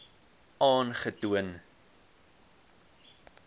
aangetoon